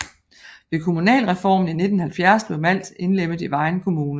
Ved kommunalreformen i 1970 blev Malt indlemmet i Vejen Kommune